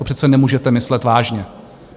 To přece nemůžete myslet vážně?